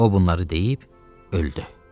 O bunları deyib öldü.